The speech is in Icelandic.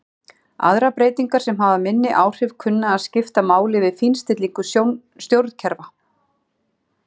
Aðrar breytingar sem hafa minni áhrif kunna að skipta máli við fínstillingu stjórnkerfa.